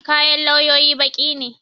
Kayan lauyoyi baƙi ne.